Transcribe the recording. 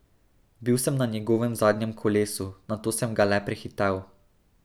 Bil sem na njegovem zadnjem kolesu, nato sem ga le prehitel.